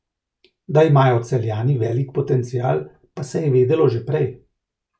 Da imajo Celjani velik potencial, pa se je vedelo že prej.